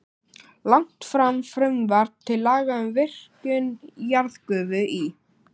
Lagt fram frumvarp til laga um virkjun jarðgufu í